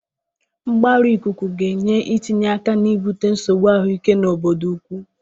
Mgbarụ ikuku ga-enye etinye aka na ibute nsogbu ahụike n'obodo ukwu.